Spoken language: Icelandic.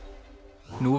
nú